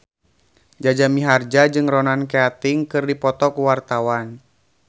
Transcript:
Jaja Mihardja jeung Ronan Keating keur dipoto ku wartawan